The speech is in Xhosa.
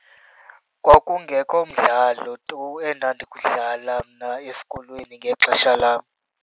Kwakungekho mdlalo tu endandiwudlala mna esikolweni ngexesha lam.